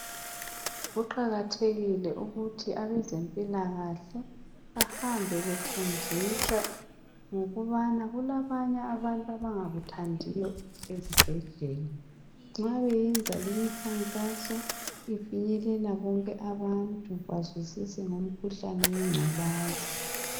Kuqakathekile ukuthi abezempilakahle bahambe befundisa ngokubana kulabanye abantu abangakuthandiyo ezibhedlela. Nxa beyenza limikhankaso ifinyelela bonke abantu bazwisise ngomkhuhlane wengculaza.